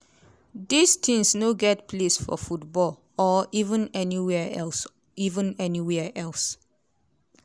dis tins no get place for football or even anywia else. even anywia else.